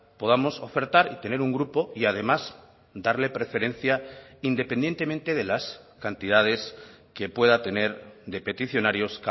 podamos ofertar y tener un grupo y además darle preferencia independientemente de las cantidades que pueda tener de peticionarios